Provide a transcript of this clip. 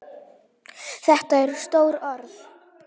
Þetta eru stór orð.